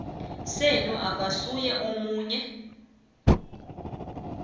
senu akasuye omunye